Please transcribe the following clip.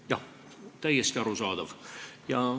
Jah, täiesti arusaadav.